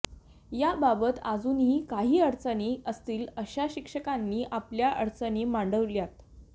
याबाबत अजूनही काही अडचणी असतील अशा शिक्षकांनी आपल्या अडचणी मांडाव्यात